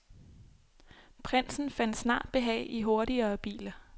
Prinsen fandt snart behag i hurtigere biler.